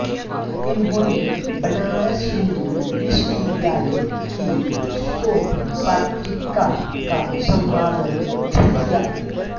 इन्होंने बनारस हिन्दू विश्वविद्यालय की शोध पत्रिका का संपादन भी किया